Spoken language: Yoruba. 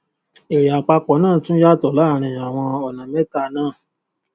èrè àpapọ náà tún yàtọ láàárín àwọn ọnà mẹta náà